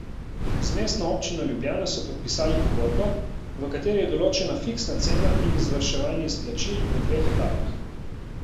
Z Mestno občino Ljubljana so podpisali pogodbo, v kateri je določena fiksna cena in izvrševanje izplačil v dveh etapah.